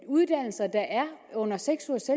uddannelser der er under seks ugers